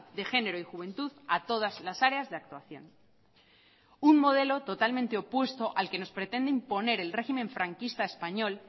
de género y juventud a todas las áreas de actuación un modelo totalmente opuesto al que nos pretende imponer el régimen franquista español